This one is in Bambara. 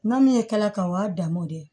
N ma min ye k'a o y'a danmo de ye